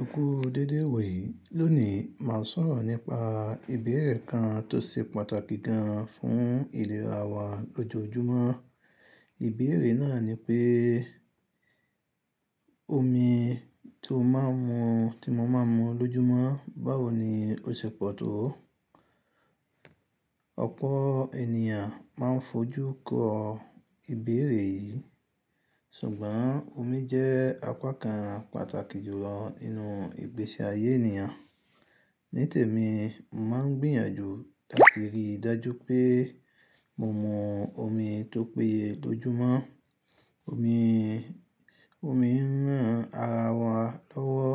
Eku déedéè iwoyìí lónìí mà á sọ̀rọ̀ nípa ìbéèrè kan tó ṣe pàtàkì gan fún ìlera wa lójó ojúmọ́. Ìbéèrè náà ni pé omi tó mo máa mu lójúmọ́ báwo ni ó ṣẹ́ pọ̀ tó? Ọ̀pọ̀ ènìyàn máa ń fojú kọ ìbéèrè yìí, sùgbọ́n omi jẹ ápá kan pàtàkì jùlọ nínú ìgbèṣe àyé ènìyàn. Nítẹ̀mí, mo máa ń gbìyànjú tàbí rí ìdájú pé mo mu omi tó péye lójúmọ́. Omi ń rán ara wa lọ́wọ́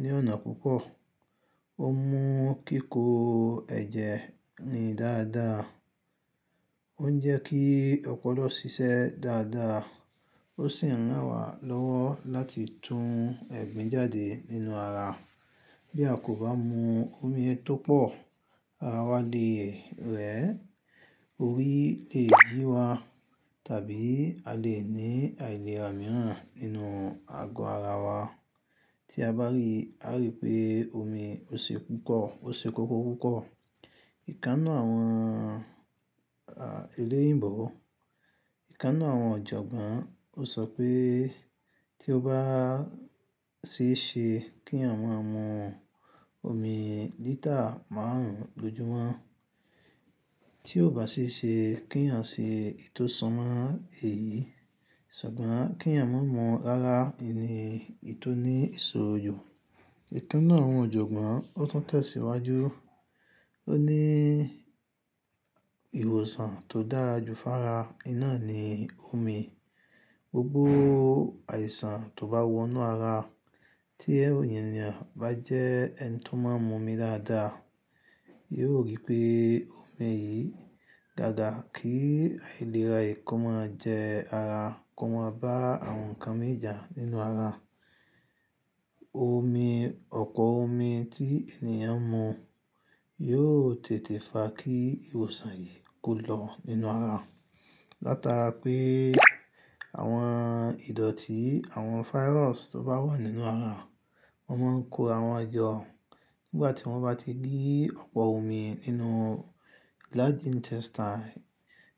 ní ọ̀nà púpọ̀, ó mú kíkó ẹ̀jẹ ni dáadáa, ó ń jẹ kí ọ̀pọ̀lọ́ ṣiṣẹ́ dáadáa, ó sì ń rán wa lọ́wọ́ láti tún ẹ̀gbin jáde nínú ara. Bí a kò bá mu omi tó pọ̀, ara wa lè rẹ̀, orí lè yi wa tàbí a lè ní àìlera mìíràn nínú ago ara wa. Tí a bá rí, á rí pé omi ó ṣé koko pupọ̀. Ìkán ninu àwọn eléyìbọ̀, ìkán aninuàwọn ọ̀jọ̀gbọ́n ó sọ pé tí o bá ṣé ṣe kí ẹ̀ẹ̀yàn mú ọmi lítà márùn-ún lójúmọ́, tí o bá ṣé ṣe kí ẹ̀ẹ̀yàn se ìtọ́ sọ́mà èyìí, sùgbọ́n kí ẹ̀ẹ̀yàn má mú ọmi rárá, ẹni ì tó ní isorò jù, ìkán ninu àwọn ọ̀jọ̀gbọ́n ó tún tẹ̀síwájú, ó ní ìwòsàn tó dára ju fára, iná ni omi. Gbógbó àìsàn tó bá wọnú ara, tí ẹnìyàn bá jẹ́ ẹni tó máa ń mú omi dáadáa, yóò rí pé omi yìí dáadáa, kí àìlera ẹ̀kọ́ máa jẹ ara, kọ́ máa bá àwọn nǹkan min ja nínú ara. Ọ̀pọ̀ omi tí ènìyàn mú yóò tètè fa kí ìwòsàn yìí ko lo nínú ara. Láta rá pé àwọn ìdọ̀tí, àwọn fáírọọ̀ṣ tó bá wà nínú ara, wọ́n máa ń kó àwọn ọjọ́. Nígbà tí wọ́n bá ti rí ọ̀pọ̀ omi nínú large intestine,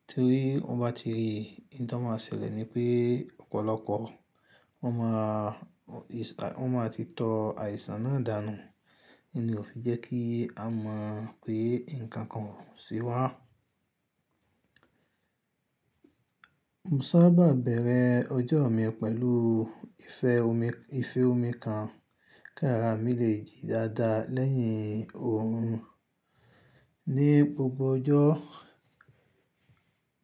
tórí wọ́n bá ti rí i, oun tọ́ máa ṣẹ̀lẹ̀ ni pé ọ̀polopo wọ́n máa ti tọ àìsàn náà dànù. Oun ní ò fi jẹ́ kí a mọ̀ pé nǹkan kan oo ṣe wá. Mò ń sábà bẹ̀rẹ̀ ọjọ́ mi pẹ̀lú ife omi kan kí ara mi lè jí dáadáa lẹ́yìn òrun. Ní gbogbo ọjọ́,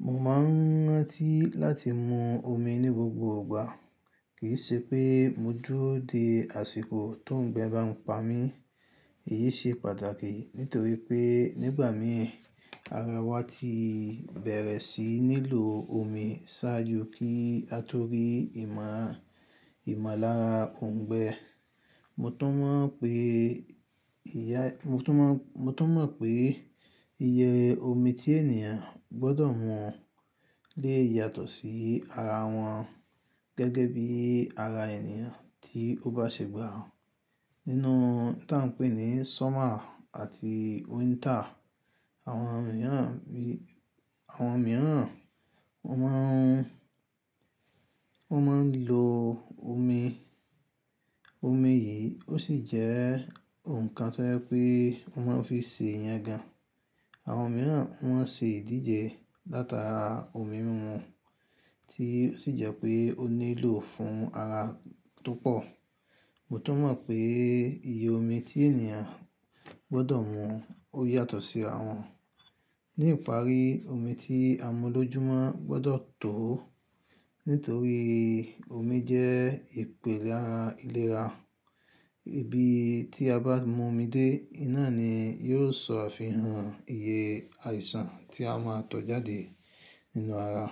mo máa ń rán tí láti mu omi ní gbogbo ìgbà, kìí ṣe pé mo dúró de àṣìkò tó ń gbẹ́ bá mi pa mí. Èyìí ṣe pàtàkì nítorí pé nígbà mìí ara wa tí bẹ̀rẹ̀ síi nílò omi ṣáájú kí a tó rí ìmàlàrá òun gbẹ. Mò tun mo pé ìyẹ omi tí ènìyàn gbọ́dọ̀ mu le yatọ̀ sí ara wọn, gẹ́gẹ́ bí ara ẹ̀nìyàn tí ó bá ṣẹ̀gbà. Nínú tí à ń pè ní sọ́mà àti wíntà, àwọn mìíràn wọ́n máa ń lo omi. Omi yìí ó sì jẹ́ nǹkan tó hẹ́ pé wọ́n máa ń fi ṣe ìyán gan. Àwọn mìíràn wọ́n ṣe ìdíje látara omímimu tí ó sì jẹ́ pé ó nílò fún ara tó pọ̀. Mò tọ́ má pé ìyẹ omi tí ènìyàn gbọ́dọ̀ mu ó yatọ̀ sí ara wọn. Ní ìparí, omi tí a mu lójúmọ́ gbọ́dọ̀ tó nítorí omi jẹ ìpèlárà ìlera. Ìbí tí a bá mú omi dé iná ni yóò sọ àfihàn ìyẹ àìsàn tí a máa tọ̀ jáde nínú ara.